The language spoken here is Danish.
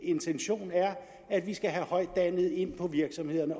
intention er at vi skal have højtuddannede ind på virksomhederne